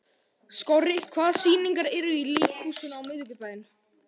Skorri, hvaða sýningar eru í leikhúsinu á miðvikudaginn?